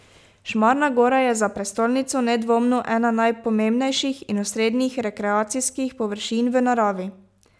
Šmarna gora je za prestolnico nedvomno ena najpomembnejših in osrednjih rekreacijskih površin v naravi.